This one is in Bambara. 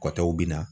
Kɔtɔw bɛ na